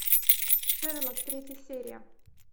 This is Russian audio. шерлок третья серия